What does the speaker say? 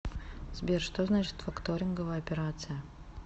сбер что значит факторинговая операция